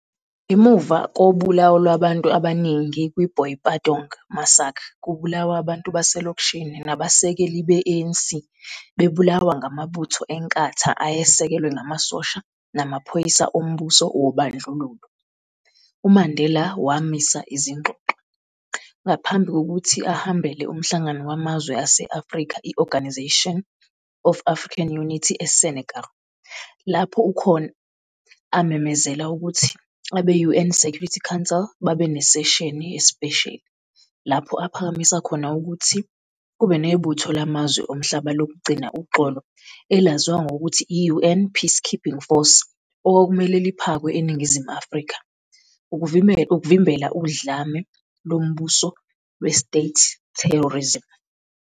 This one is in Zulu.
Ngemuva kobulawo lwabantu abaningi kwi-Boipatong massacre kubulawa abantu baselokishini nabasekeli be-ANC bebulawa ngamabutho eNkatha ayesekelwe ngamasosha namaphoyisa ombuso wobandlululo, uMandela wamisa izingxoxo, ngaphambi kokuthi ahambele umhlangano wamazwe ase-Afrika i-Organisation of African Unity eSenegal, lapho khona amemezela ukuthi abe-UN Security Council babenesesheni yesipesheli, lapho aphakamisa khona ukuthi kube nebutho lamazwe omhlaba lokugcina uxolo elaziwa ngokuthi yi-UN peacekeeping force okwakumele liphakwe eNingizimu Afrika, ukuvimbela udlame lombuso lwe-"state terrorism".